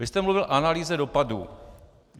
Vy jste mluvil o analýze dopadů.